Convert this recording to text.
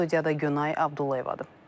Studiyada Günay Abdullayevadır.